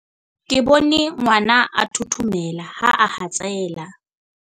ke bone ngwana a thothomela ha a hatsela